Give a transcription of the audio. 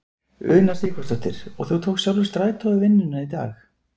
Una Sighvatsdóttir: Og þú tókst sjálfur strætó í vinnuna í dag?